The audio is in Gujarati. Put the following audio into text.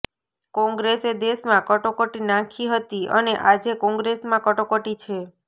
કોંગ્રેસે દેશમાં કટોકટી નાંખી હતી અને આજે કોંગ્રેસમાં કટોકટી છે